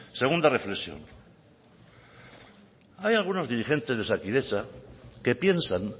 segunda reflexión hay algunos dirigente de osakidetza que piensan